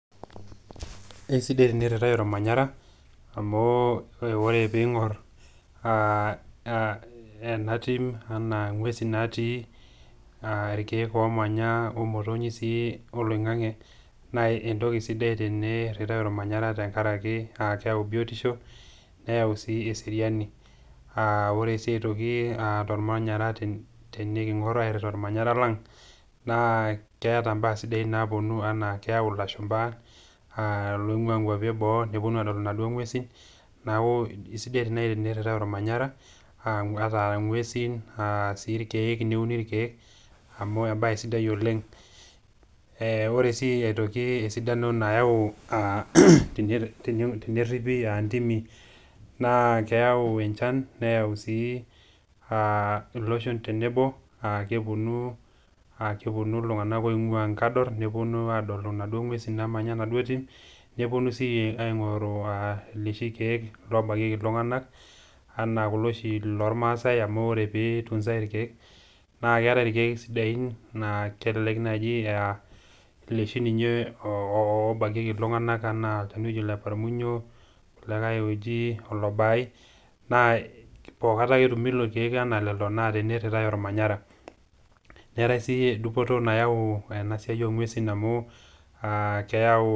Eisidai teneiritai ilmanyara amu ore pee ing'or ena tim ana ing'wesi natii ilkiek omanya o motonyi sii oloing'ang'e naa entoki sidai sii teneiritai olmanyara a keau biotisho neyau sii eseriani. Ore sii aitoki tolmanyara teneking'or airita olmanyara lang' naa keeta mbaa sidain naawuoni ana keyau ilashumba loing'uaa ngwapi e boo newuonu adol inaduo ng'wesi, neaku aisidai naai teneiritai olmanyara ata a ng'wesi ata a sii ilkiek neuni ilkiek amu embae sidai oleng' ore sii aitoki esidano nayau teneripi a ndimi naa keyau enchan neyau sii a loshon tenebo a kewuonu iltung'ana oing'uaa nkador newuonu aadol inaduo ng'wesi namanya enaduo tim, newuoni sii aing'oru loshi kiek lobakieki iltung'ana ana kulo oshi lolmaasai amu ore peeitunzai ilkiek naa keetai ilkiek sidai na kelelek naaji a loshi loobakieki iltung'ana ana ele oji oleparmunyo olikae oji olobaai naa pookata ake etumi lelo naa teneiritai olmanyara. Neetai sii dupoto nayau ena siai oong'wesi amu keyau....